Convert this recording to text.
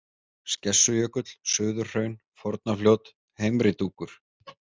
Skessujökull, Suðurhraun, Fornafljót, Heimri Dúkur